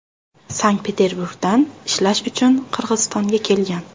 Sankt-Petreburgdan ishlash uchun Qirg‘izistonga kelgan.